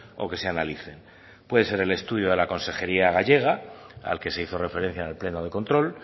o que se analicen puede ser el estudio de la consejería gallega al que se hizo referencia en el pleno de control